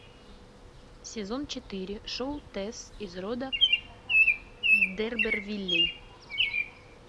сезон четыре шоу тэсс из рода д эрбервиллей